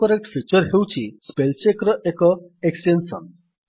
autocorrect feature ହେଉଛି spell check ର ଏକ ଏକ୍ସଟେନ୍ସନ୍